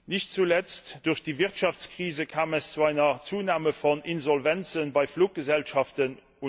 Nicht zuletzt durch die Wirtschaftskrise kam es zu einer Zunahme von Insolvenzen bei Fluggesellschaften.